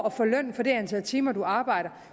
at få løn for det antal timer man arbejder